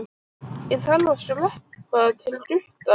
Ég þarf að skreppa til Gutta.